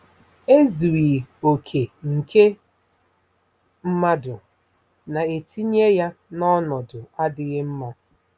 Ezughị okè nke mmadụ na-etinye ya n'ọnọdụ adịghị mma.